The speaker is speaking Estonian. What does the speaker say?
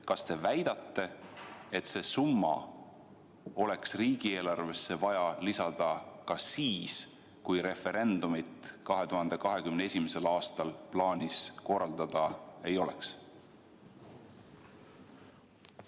Kas te väidate, et see summa oleks riigieelarvesse vaja lisada ka siis, kui referendumit 2021. aastal plaanis korraldada ei oleks?